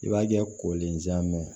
I b'a kɛ kolen jɛma